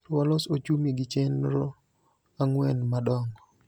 Koro walos ochumi gi chenor ang'wen madongo.